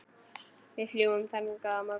Við fljúgum þangað á morgun.